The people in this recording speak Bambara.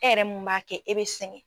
Ɛ yɛrɛ mun m'a kɛ e bɛ segɛn.